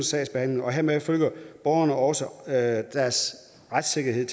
sagsbehandling og hermed føler borgerne også at deres retssikkerhed